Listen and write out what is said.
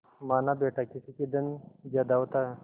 मानाबेटा किसी के धन ज्यादा होता है